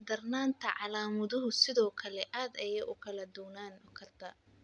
Darnaanta calaamaduhu sidoo kale aad ayey u kala duwanaan kartaa.